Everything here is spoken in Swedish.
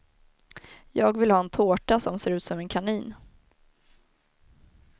Jag vill ha en tårta som ser ut som en kanin.